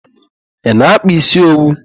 Ị na-akpa isi owu?